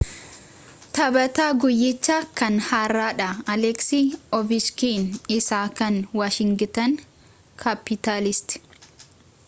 taphataa guuyyichaa kan hardhaa aleeksi oovechkiin isa kan waashingitan kaappitaalsiti